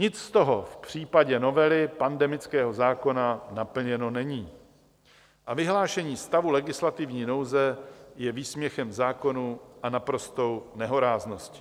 Nic z toho v případě novely pandemického zákona naplněno není a vyhlášení stavu legislativní nouze je výsměchem zákonům a naprostou nehorázností.